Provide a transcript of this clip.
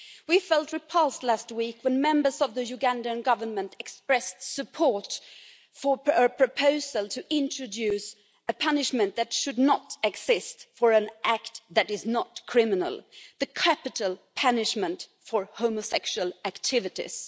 We felt repulsed last week when members of the Ugandan Government expressed support for a proposal to introduce a punishment that should not exist for an act that is not criminal capital punishment for homosexual activities.